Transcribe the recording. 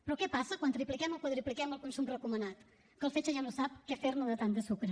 però què passa quan tripliquem o quadrupliquem el consum recomanat que el fetge ja no sap què fer ne de tant de sucre